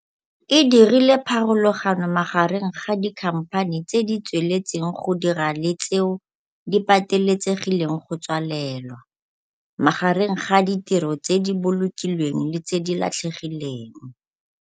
E dirile pharologano magareng ga dikhamphani tse di tsweletseng go dira le tseo di pateletsegileng go tswalelwa, magareng ga ditiro tse di bolokilweng le tse di latlhegileng.